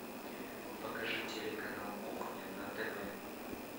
покажи телеканал кухня на тв